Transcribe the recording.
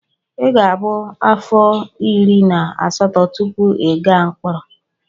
Ị ga-abụ afọ iri na asatọ tupu ị gaa mkpọrọ.